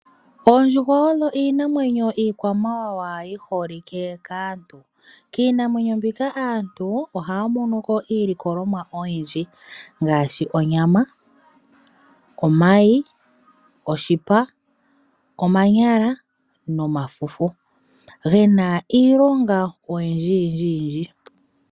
Oondjuhwa oyo iinamwenyo iikwamawawa yi holike kaantu. Kiinamwenyo mbika aantu ohaya mono ko iilikolomwa oyindji ngaashi onyama, omayi, oshipa, omanyala nomafufu gena iilonga oyindji yindji.